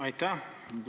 Aitäh!